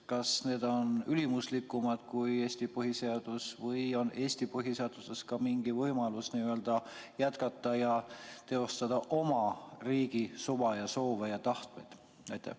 Kas need on ülimuslikumad kui Eesti põhiseadus või on Eesti põhiseaduses ka mingi võimalus jätkata ja teostada oma riigi suva ja soove ja tahet?